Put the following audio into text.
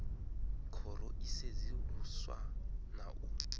khoro i sedzuluswa na u